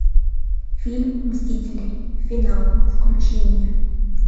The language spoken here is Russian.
фильм мстители финал включи мне